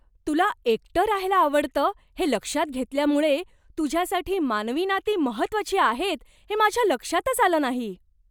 तुला एकटं राहायला आवडतं हे लक्षात घेतल्यामुळे, तुझ्यासाठी मानवी नाती महत्त्वाची आहेत हे माझ्या लक्षातच आलं नाही.